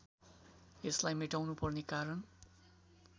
यसलाई मेटाउनुपर्ने कारण